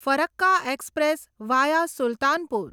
Farakka express via Sultanpur